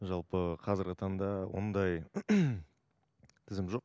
жалпы қазіргі таңда ондай тізім жоқ